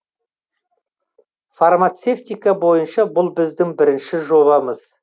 фармацевтика бойынша бұл біздің бірінші жобамыз